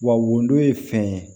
Wa wodon ye fɛn ye